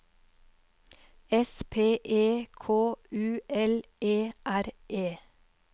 S P E K U L E R E